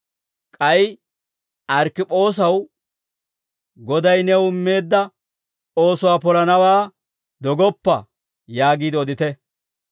K'ay Arkkipoosaw, «Goday new immeedda oosuwaa polanawaa dogoppa» yaagiide odite.